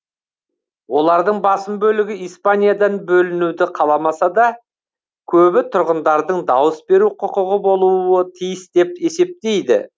олардың басым бөлігі испаниядан бөлінуді қаламаса да көбі тұрғындардың дауыс беру құқығы болуы тиіс деп есептейді